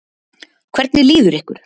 Hvernig líður ykkur?